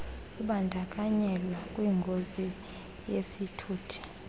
ubandakanyeka kwingozi yesithuthi